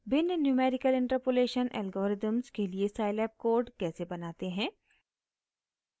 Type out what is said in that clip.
भिन्न numerical interpolation algorithms के लिए scilab कोड कैसे बनाते हैं